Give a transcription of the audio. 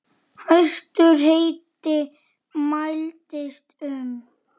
Hæstur hiti mældist um